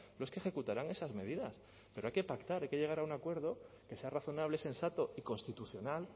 los que ejecutarán esas medidas pero hay que pactar hay que llegar a un acuerdo que sea razonable sensato y constitucional